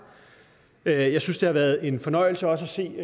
jeg jeg synes det har været en fornøjelse også at se